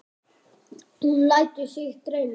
Hún lætur sig dreyma.